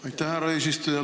Aitäh, härra eesistuja!